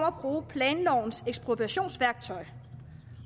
at bruge planlovens ekspropriationsværktøj